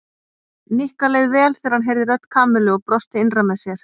Nikka leið vel þegar hann heyrði rödd Kamillu og brosti innra með sér.